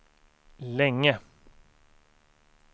länge